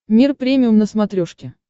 мир премиум на смотрешке